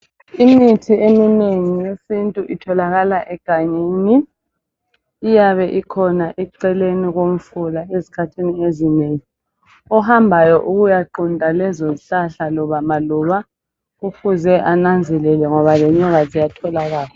Imithi eminengi yesintu itholakala egangeni, iyabe ikhona eceleni komfula ezikhathini ezinengi. Ohambayo ukuyaqunta lezozihlahla loba maluba kufuze ananzelele ngoba lenyoka ziyatholakala